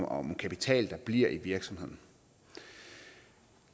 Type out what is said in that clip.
om kapital der bliver i virksomheden